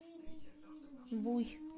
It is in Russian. буй